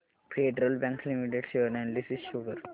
federal bank limited share analysis show कर